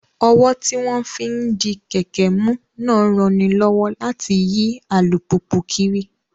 Ọ́wọ́ tí wọ́n fi ń di kẹ̀kẹ́ mú náà ń ranilọ́wọ́ láti yí alùpùpù kiri